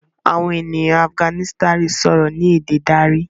Àwọn ènìyàn Afiganisitani sòrò ní èdè darí.